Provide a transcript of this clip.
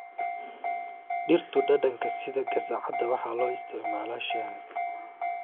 Dhirtu dhadhanka sida qasacada waxaa loo isticmaalaa shaaha.